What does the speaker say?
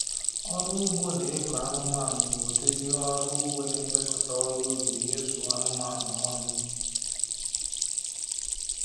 Ọrụ ugbo na ịkụ anụmanụ bụ ụdịdị ọrụ ugbo na-emekọta ọrụ ubị na ịzụ anụmanụ ọnụ